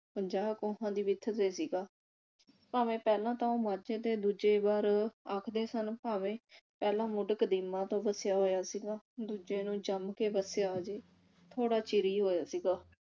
ਪੰਜਾਹ ਕੋਹਾ ਦੀ ਵਿੱਥ ਤੇ ਸੀਗਾ ਭਾਵੇ ਪਹਿਲਾਂ ਤਾਂ ਉਹ ਮਾਝੇ ਦੇ ਦੂਜੇ ਬਾਰ ਆਖਦੇ ਸਨ ਭਾਵੇ ਪਹਿਲਾਂ ਮੁੱਢ ਕਦੀਮਾ ਤੋਂ ਵਸਿਆ ਹੋਇਆ ਸੀਗਾ ਦੂਜਿਆਂ ਨੂੰ ਜੰਮ ਕੇ ਵਸਿਆ ਅਜੇ ਥੋੜਾ ਚਿਰ ਹੀ ਹੋਇਆ ਸੀਗਾ